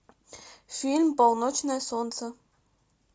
фильм полночное солнце